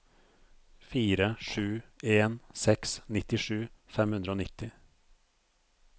fire sju en seks nittisju fem hundre og nitti